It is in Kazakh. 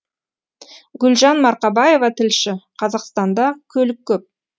гүлжан марқабаева тілші қазақстанда көлік көп